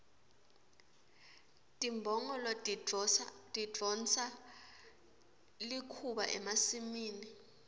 timbongolo tidonsa likhuba emasimini